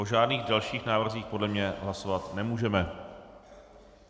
O žádných dalších návrzích podle mě hlasovat nemůžeme.